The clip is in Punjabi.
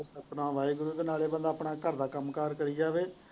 ਤੇ ਸਤਿਨਾਮ ਵਾਹਿਗੁਰੂ ਤੇ ਨਾਲੇ ਬੰਦਾ ਆਪਣਾ ਘਰ ਦਾ ਕੰਮ ਕਾਰ ਕਰੀ ਜਾਵੇ।